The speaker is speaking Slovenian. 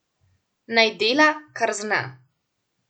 Naj dela, kar zna.